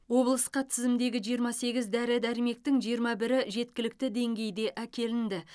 облысқа тізімдегі жиырма сегіз дәрі дәрмектің жиырма бірі жеткілікті деңгейде әкелінді